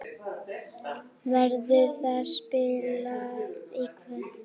Verður það spilað í kvöld?